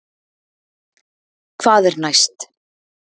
Hvað er næst